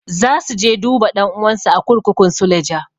Za su je duba ɗan'uwansu a kurkukun suleja.